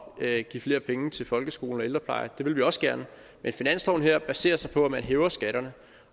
at give flere penge til folkeskolen og ældreplejen det vil vi også gerne men finansloven her baserer sig på at man hæver skatterne